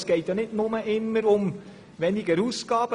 Es geht nicht immer nur um eine Senkung der Ausgaben.